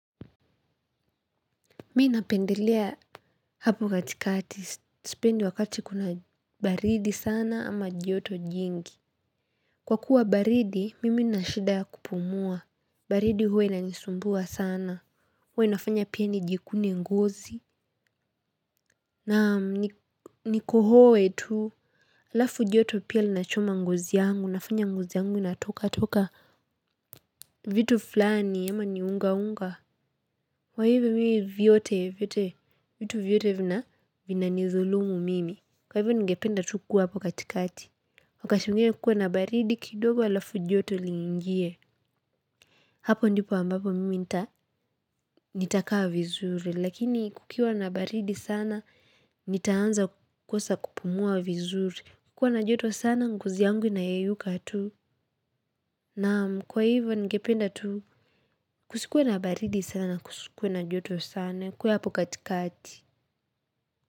Mi napendelea hapo katikati, sipendi wakati kuna baridi sana ama joto jingi. Kwa kuwa baridi, mimi nina shida ya kupumua, baridi huwa inanisumbua sana, huwa inafanya pia nijikune ngozi. Na nikohoe tu, alafu joto pia linachoma ngozi yangu, nafanya ngozi yangu inatoka toka vitu fulani ama ni unga unga wa hivyo mii vyote, vitu vyote vina nizulumu mimi. Kwa hivyo ningependa tu kuwa hapo katikati. Ukashungie kukua na baridi kidogo alafu joto lingie. Hapo ndipo ambapo mimi nitakaa vizuri. Lakini kukiwa na baridi sana, nitaanza kukosa kupumua vizuri. Kukua na joto sana, ngozi yangu inayeyuka tu. Naam kwa hivyo ningependa tu, kusikuwe na baridi sana, kusikuwe na joto sana. Kukuwe hapo katikati. Muzika.